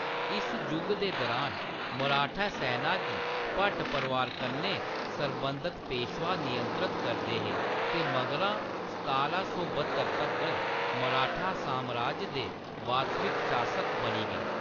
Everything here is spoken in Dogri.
इस जुग दे दरान, मराठा सैना गी भट परोआर कन्नै सरबंधित पेशवा नियंत्रित करदे हे ते मगरा सतारां सौ ब्हत्तर तक्कर मराठा सामराज दे वास्तविक शासक बनी गे।